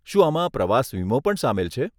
શું આમાં પ્રવાસ વીમો પણ સામેલ છે?